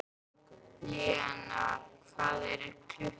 Linnea, hvað er klukkan?